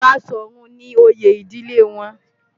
Baṣọ̀run ni oyè ìdílé wọn.